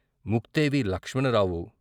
Mukthevi Lakshmanarao.